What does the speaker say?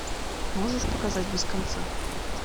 можешь показать без конца